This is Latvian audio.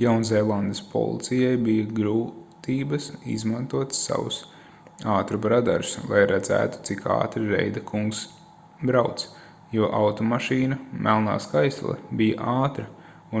jaunzēlandes policijai bija grūtības izmantot savus ātruma radarus lai redzētu cik ātri reida kungs brauc jo automašīna melnā skaistule bija ātra